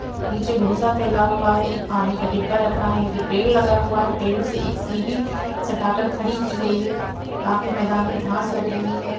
नीचे बहुत सा फैला हुआ है एक पानी का डिब्बा रखा है ये पेड़ लगा हुआ है पेड़ से एक सीधी सटाकर खड़ी की गई है बाकी मैदान में घास लग रही है।